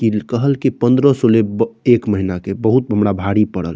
इल कहल की पन्द्रो सो लेब्बो एक महीना के बहुत हमरा भारी पड़ल।